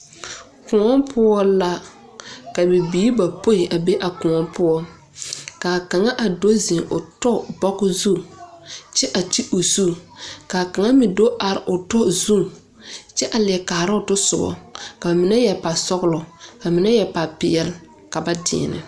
Kõɔ poɔ la, ka bibiiri bapoi a be a kõɔ poɔ, ka a kaŋa a do zeŋ o tɔ bɔge zu kyɛ a ti o zu ka kaŋa me do are a tɔ zu kyɛ a leɛ kaara o tɔsobɔ, ka ine yɛr pasɔgelɔ ka mine meŋ yɛr papeɛle ka ba deɛnɛ.